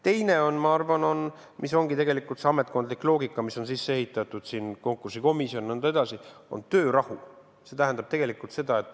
Teine on, ma arvan – see ongi tegelikult see ametkondlik loogika, mis on sisse ehitatud konkursikomisjoni ja nõnda edasi –, töörahu.